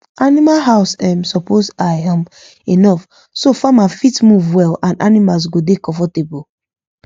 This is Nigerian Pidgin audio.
animal house um suppose high um enough so farmer fit move well and animals go dey comfortable